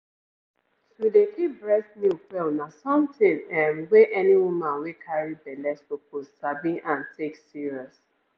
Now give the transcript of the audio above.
to dey keep breast milk well na something ehmm wey any woman wey carry belle suppose sabi and take serious.